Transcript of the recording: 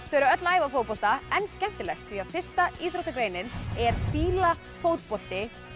þau eru öll að æfa fótbolta en skemmtilegt því fyrsta íþróttagreinin er fíla fótbolti